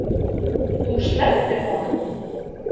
Þú slepptir honum.